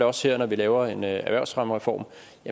også her når vi laver en erhvervsfremmereform